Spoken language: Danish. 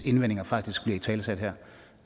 indvendinger faktisk bliver italesat her